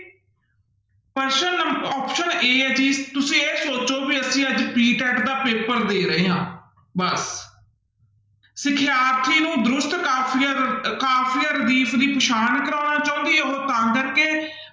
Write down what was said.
ਪ੍ਰਸ਼ਨ ਨੰ option a ਹੈ ਜੀ ਤੁਸੀਂ ਇਹ ਸੋਚੋ ਵੀ ਅਸੀਂ ਅੱਜ PTET ਦਾ ਪੇਪਰ ਦੇ ਰਹੇ ਹਾਂ ਬਸ ਸਿਖਿਆਰਥੀ ਨੂੰ ਦਰੁਸਤ ਕਾਫ਼ੀਆ ਰ ਕਾਫ਼ੀਆ ਦੀ ਪਛਾਣ ਕਰਵਾਉਣਾ ਚਾਹੁੰਦੀ ਹੈ ਉਹ ਤਾਂ ਕਰਕੇ